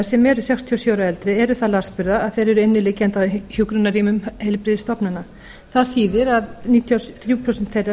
sem eru sextíu og sjö ára og eldri eru það lasburða að þeir eru inniliggjandi á hjúkrunarrýmum heilbrigðisstofnana það þýðir að níutíu og þrjú prósent þeirra